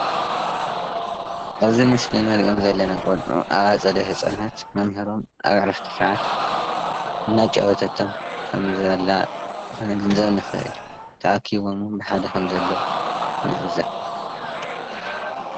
ኣበዚ ምሰሊ እነሪኦመ ዘለና ቆልዑ ኣብ ኣፀደ ሀፃናት መምሀሮም ኣብ ዕረፍቲ ሰዓት አናጫወተቶም ከም ዘላ ክንግንዘብ ንክእል ተኣኪቦመ እውን በሓደ ከም ዘለዉ ንዕዘብ።